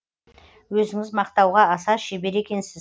өзіңіз мақтауға аса шебер екенсіз